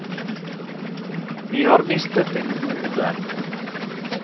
Vi har mistet en god venn.